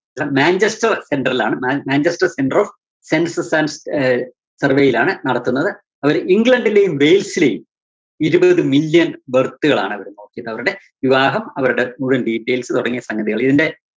ല Manchester‍ center ലാണ്, Manchester‍ centre of census and uh സർവേയിലാണ് നടത്തുന്നത്. അവര് ഇംഗ്ലണ്ടിലെയും വെല്‍സിലെയും ഇരുപത് million birth കളാണ് അവിടെ നോക്കിയത് അവരുടെ വിവാഹം അവരുടെ മുഴുവന്‍ details തുടങ്ങിയ സംഗതികള്‍ ഇതിന്റെ